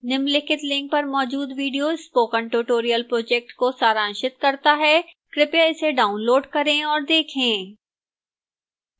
निम्नलिखित link पर मौजूद video spoken tutorial project को सारांशित करता है कृपया इसे डाउनलोड करें और देखें